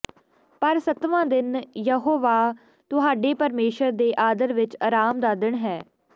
ਪਰ ਸੱਤਵਾਂ ਦਿਨ ਯਹੋਵਾਹ ਤੁਹਾਡੇ ਪਰਮੇਸ਼ੁਰ ਦੇ ਆਦਰ ਵਿੱਚ ਅਰਾਮ ਦਾ ਦਿਨ ਹੈ